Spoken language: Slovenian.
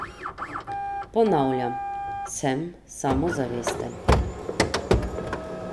Ponavljam, sem samozavesten.